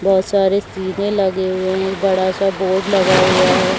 बहुत सारे सीधे लगे हुए हैं एक बड़ा सा बोर्ड लगा हुआ है।